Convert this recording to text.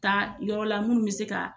Taa yɔrɔ la munnu be se ka